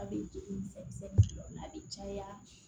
A bɛ juru misɛnnin dɔw la a bɛ caya